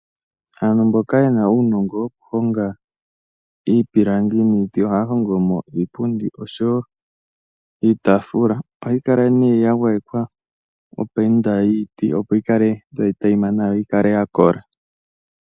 Aantu mboka ye na uunongo wokuhonga iipilangi niiti ohaya hongo mo iipundi oshowo iitafula, ohayi kala nee ya gwayekwa opainda yiiti opo yi kale tayi teyima nawa, yo yi kale ya kola.